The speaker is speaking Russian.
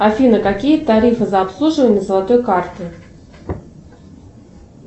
афина какие тарифы за обслуживание золотой карты